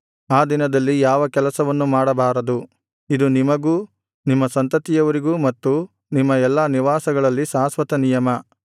ಆ ದಿನದಲ್ಲಿ ಯಾವ ಕೆಲಸವನ್ನು ಮಾಡಬಾರದು ಇದು ನಿಮಗೂ ನಿಮ್ಮ ಸಂತತಿಯವರಿಗೂ ಮತ್ತು ನಿಮ್ಮ ಎಲ್ಲಾ ನಿವಾಸಗಳಲ್ಲಿ ಶಾಶ್ವತನಿಯಮ